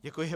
Děkuji.